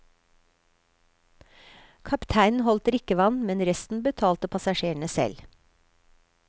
Kapteinen holdt drikkevann, men resten betalte passasjerene selv.